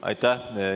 Aitäh!